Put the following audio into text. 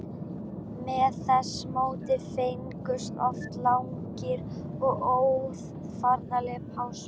Með þessu móti fengust oft langar og óaðfinnanlegar pásur.